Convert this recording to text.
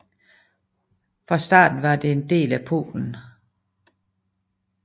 Fra starten var det en del af Polen